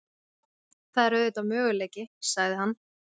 Það er auðvitað möguleiki- sagði hann.